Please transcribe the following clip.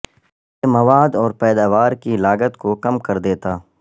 یہ مواد اور پیداوار کی لاگت کو کم کر دیتا